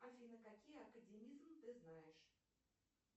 афина какие академизм ты знаешь